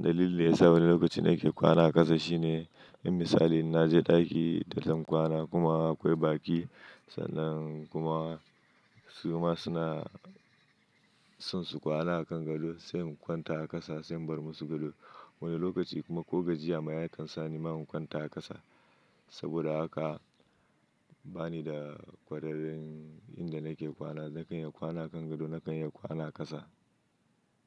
Dalilin da yasa wani lokaci nake kwana a ƙasa shine, in misali na je ɗaki da zan kwana kuma akwai baƙi sannan kuma su ma suna son su kwana a kan gado sai in kwanta a ƙasa sai in bar musu gado. Wani lokaci kuma ko gajiya ma ya kan sa ni ma in kwanta ƙasa. Saboda haka bani da ƙwararren inda nake kwana, nakan iya kwana a kan gado, nakan iya kwana a ƙasa.